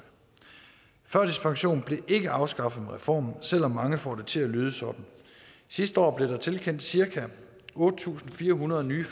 førtidspensionen blev ikke afskaffet med reformen selv om mange får det til at lyde sådan sidste år blev der tilkendt cirka otte tusind fire hundrede nye